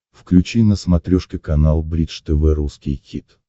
включи на смотрешке канал бридж тв русский хит